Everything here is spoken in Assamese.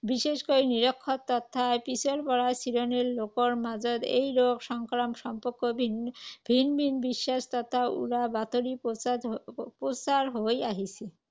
বিশেষকৈ নিৰক্ষৰ তথা পিছপৰা শ্ৰেণীৰ লোকৰ মাজত এই ৰোগ সংক্ৰমণ সম্পৰ্কে ভিন ভিন বিশ্বাস তথা উৰা বাতৰি প্ৰচাৰ আহ প্ৰচাৰ হৈ আহিছে।